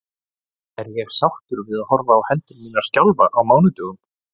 Er ég sáttur við að horfa á hendur mínar skjálfa á mánudögum?